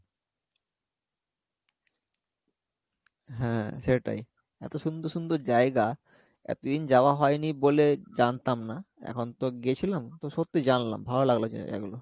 হ্যাঁ সেটাই এত সুন্দর সুন্দর জায়গা এতদিন যাওয়া হয়নি বলে জানতাম না এখন তো গেছিলাম তো সত্যিই জানলাম ভালো লাগলো কিন্তু জায়গাগুলো